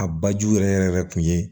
A bajiw yɛrɛ yɛrɛ tun ye